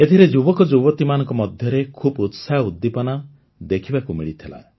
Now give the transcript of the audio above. ଏଥିରେ ଯୁବକଯୁବତୀମାନଙ୍କ ମଧ୍ୟରେ ଖୁବ୍ ଉତ୍ସାହ ଉଦ୍ଦୀପନା ଦେଖିବାକୁ ମିଳିଥିଲା